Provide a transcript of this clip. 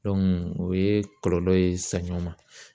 o ye kɔlɔlɔ ye saɲɔ ma